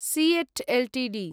seat Ltd